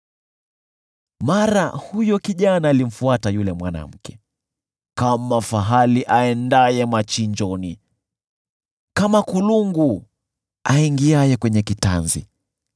Mara huyo kijana alimfuata yule mwanamke kama fahali aendaye machinjoni, kama kulungu aingiaye kwenye kitanzi,